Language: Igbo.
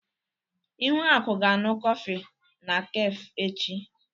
Ihuaku ga-aṅụ kọfị na kafé echi.